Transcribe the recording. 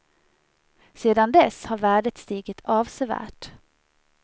Sedan dess har värdet stigit avsevärt.